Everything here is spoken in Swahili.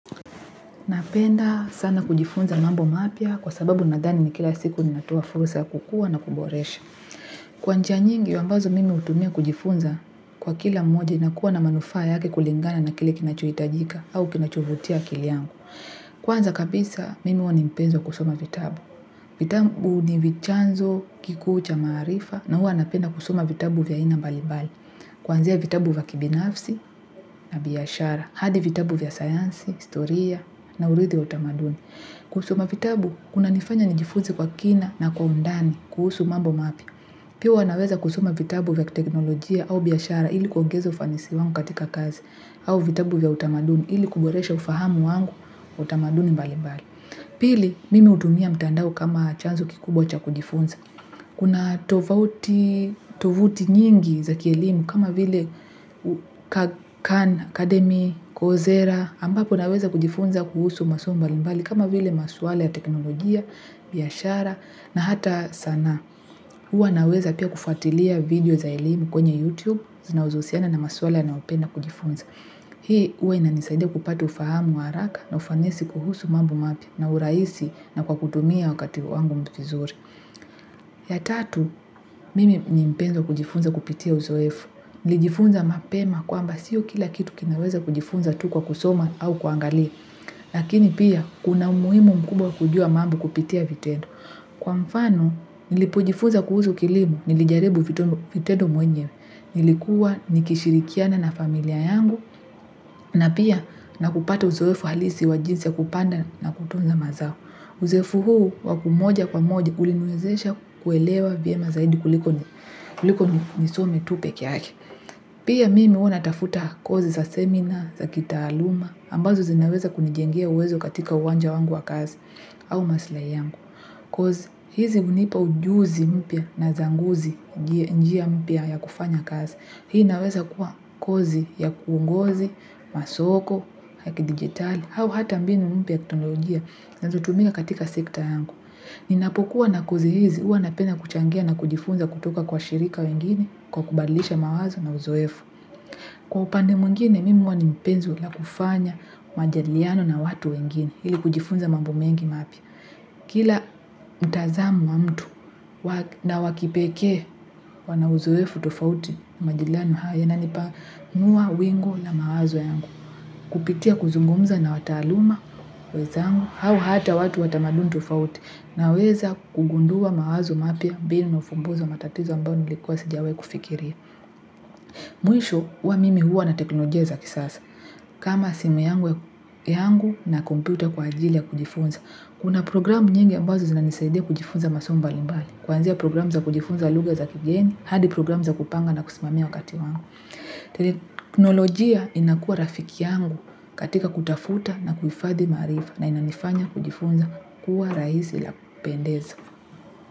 Napenda sana kujifunza mambo mapya kwa sababu nadhani ni kila siku ni natuafusa kukua na kuboresha. Kwa njia nyingi, ambazo mimi utumia kujifunza kwa kila mmoja na kuwa na manufaa yake kulingana na kile kinachoitajika au kinachuvutia akili yangu. Kwanza kabisa, mimi wanimpenzo kusoma vitabu. Vitabu ni vichanzo kikuu cha maarifa na hua napenda kusoma vitabu vya ina mbalimbali. Kwanzia vitabu vya kibinafsi na biashara. Hadi vitabu vya sayansi, historia na urithi wa utamaduni. Kusoma vitabu, kuna nifanya nijifunze kwa kina na kwa undani kuhusu mambo mapya. Pia huwa naweza kusoma vitabu vya teknolojia au biashara ili kuongeza ufanisi wangu katika kazi au vitabu vya utamaduni ili kuboresha ufahamu wangu na utamaduni mbali mbali. Pili, mimi utumia mtandao kama chanzo kikubwa cha kujifunza. Kuna tovuti nyingi za kielimu kama vile Khan Academy, Kozera, ambapo naweza kujifunza kuhusu masomo mbali mbali kama vile maswala ya teknolojia, biyashara na hata sanaa. Uwa naweza pia kufatilia video za elimu kwenye YouTube zinazousiana na maswala na upenda kujifunza. Hii uwa ina nisaidia kupata ufahamu wa haraka na ufanisi kuhusu mambo mapya na uraisi na kwa kutumia wakati wangu viizuri. Ya tatu, mimi ni mpenzi wa kujifunza kupitia uzoefu. Nilijifunza mapema kwamba siyo kila kitu kinaweza kujifunza tu kwa kusoma au kuangalia. Lakini pia, kuna umuhimu mkubwa kujua mambo kupitia vitendo. Kwa mfano, nilipojifunza kuhusu kilimo, nilijaribu fitendo mwenyewe, nilikuwa nikishirikiana na familia yangu, na pia nakupata uzoefu halisi wa jinsi ya kupanda na kutunza mazao. Uzoefu huu wakumoja kwa moja uliniwezesha kuelewa vyema zaidi kuliko nisome tu peke yake. Pia mimi huwa na tafuta kozi za seminar, za kitaaluma, ambazo zinaweza kunijengia uwezo katika uwanja wangu wa kazi au masilahi yangu. Kozi hizi unipa ujuzi mpya na zanguzi njia mpya ya kufanya kazi. Hii naweza kuwa kozi ya kuongozi, masoko, ya kidigitali, hau hata mbinu mpya kiteknolojia nazo tumika katika sekta yangu. Ninapokuwa na kozi hizi hua napenda kuchangia na kujifunza kutoka kwa shirika wengine kwa kubadlisha mawazo na uzoefu. Kwa upande mwingine, mimi huwa ni mpenzi la kufanya majadiliano na watu wengine, ili kujifunza mambuomengi mapya. Kila mtazamo wa mtu na wakipeke, wana uzoefu tufauti majadiliano haya yananipanua wingu la mawazo yangu. Kupitia kuzungumza na wataaluma, wenzangu, hau hata watu watamaduni tofauti naweza kugundua mawazo mapya mbinu na ifumbuzi wa matatizo ambao nilikuwa sijawai kufikiria. Mwisho huwa mimi huwa na teknolojia za kisasa. Kama simu yangu na kompyuta kwa ajili ya kujifunza. Kuna programu nyingi ambazo zinanisaidia kujifunza masomo mbali mbali. Kwanzia programu za kujifunza lugha za kigeni, hadi programu za kupanga na kusimamia wakati wangu. Teknolojia inakuwa rafiki yangu katika kutafuta na kuhifadhi maarifa na inanifanya kujifunza kuwa rahisi la kupendeza.